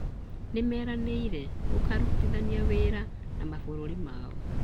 Nĩmeranĩire gũkarutithania wĩra na mabũrũri mau